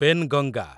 Penganga